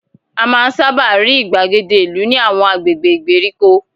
A máa ń sábà rí ìgbàgede ìlú ní àwọn agbègbè ìgbèríko